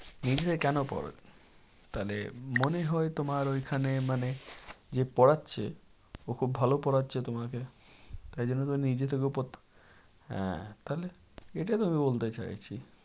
নিজে থেকে কেন পড়ো? তাহলে মনে হয় তোমার ঐখানে মানে যে পড়াচ্ছে ও খুব ভালো পড়াচ্ছে তোমাকে। তাই জন্য তো নিজে থেকেও হ্যাঁ তাহলে এটাই তো আমি বলতে চাইছি।